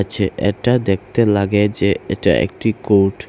যে এটা দেখতে লাগে যে এটা একটি কোর্ট ।